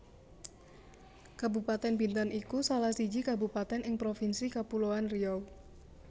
Kabupatèn Bintan iku salah siji kabupatèn ing Provinsi Kapuloan Riau